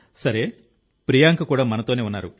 సరే ప్రియాంక కూడా మనతోనే ఉన్నారు